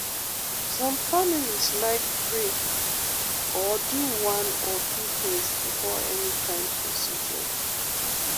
some families like pray or do one or two things before any kind procedure.